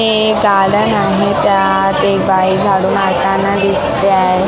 हे एक गार्डन आहे त्यात एक बाई झाडू मारताना दिसते आहे.